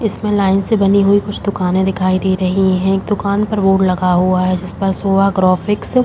इसमें लाइन से बनी हुई कुछ दुकाने दिखाई दे रही हैं। एक दुकान पर बोर्ड लगा हुआ है। जिस पर शोभा ग्राफ़िक्स --